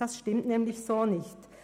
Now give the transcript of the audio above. Das stimmt so nicht.